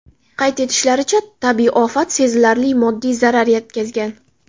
Qayd etishlaricha, tabiiy ofat sezilarli moddiy zarar yetkazgan.